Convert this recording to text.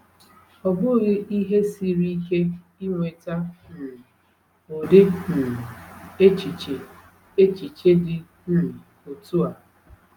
Ọ bụghị ihe siri ike inweta um ụdị um echiche echiche dị um otu a.